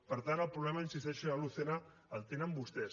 per tant el problema hi insisteixo senyor lucena el tenen vostès